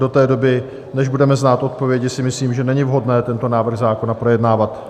Do té doby, než budeme znát odpovědi, si myslím, že není vhodné tento návrh zákona projednávat.